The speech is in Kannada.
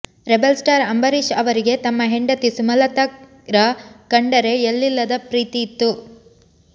ರೆಬೆರ್ ಸ್ಟಾರ್ ಅಂಬರೀಶ್ ರವರಿಗೆ ತಮ್ಮ ಹೆಂಡತಿ ಸುಮಲತಾರ ಕಂಡರೆ ಎಲ್ಲಿಲ್ಲದ ಪ್ರೀತಿ ಇತ್ತು